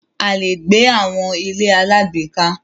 A lè gbé àwọn ilé alágbèéká.